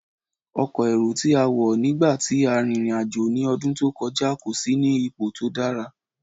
Ọkọ́ éró ti a wọ nigba ti a rin irin-ajo ni ọdun to kọja, ko si ni ipo to dara.